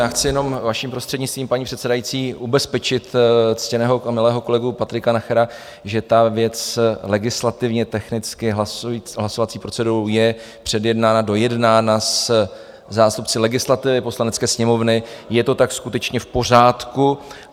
Já chci jenom vaším prostřednictvím, paní předsedající, ubezpečit ctěného a milého kolegu Patrika Nachera, že ta věc legislativně technicky hlasovací procedurou je předjednána, dojednána se zástupci legislativy Poslanecké sněmovny, je to tak skutečně v pořádku.